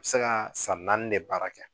U bɛ se ka san naani de baara kɛ